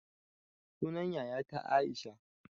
Sunan yayata aisha